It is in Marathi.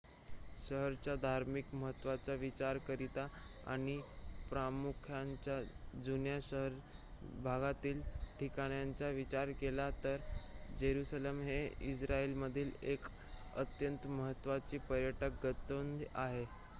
शहराच्या धार्मिक महत्वाचा विचार करिता आणि प्रामुख्याने जुन्या शहर भागातील ठिकाणांचा विचार केला तर जेरुसलेम हे इस्राइल मधील एक अत्यंत महत्वाचे पर्यटक गंतव्य आहे